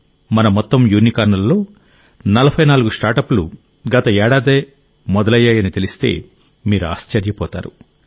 మన మొత్తం యూనికార్న్లలో 44 స్టార్టప్ లు గత ఏడాదే మొదలయ్యాయని తెలిస్తే మీరు ఆశ్చర్యపోతారు